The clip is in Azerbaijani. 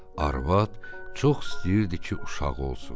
Arvad çox istəyirdi ki, uşağı olsun.